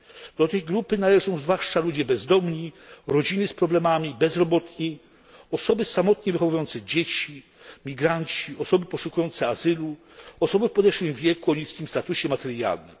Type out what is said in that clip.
Do tej grupy należą zwłaszcza ludzie bezdomni, rodziny z problemami, bezrobotni, osoby samotnie wychowujące dzieci, migranci, osoby poszukujące azylu, osoby w podeszłym wieku, o niskim statusie materialnym.